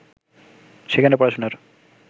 সেখানে পড়াশোনার